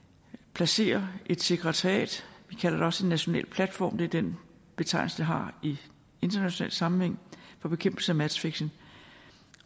placere et sekretariat vi kalder det også en national platform det er den betegnelse det har i international sammenhæng for bekæmpelse af matchfixing